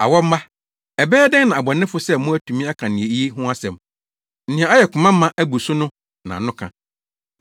Awɔ mma! Ɛbɛyɛ dɛn na abɔnefo sɛ mo atumi aka nea eye ho asɛm? Nea ayɛ koma ma abu so no na ano ka.